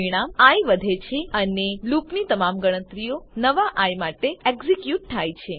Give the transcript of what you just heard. પરિમાણ આઇ વધે છે અને લૂપની તમામ ગણતરીઓ નવા આઇ માટે એક્ઝીક્યુટ થાય છે